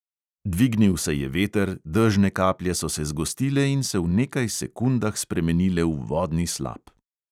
Dvignil se je veter, dežne kaplje so se zgostile in se v nekaj sekundah spremenile v vodni slap.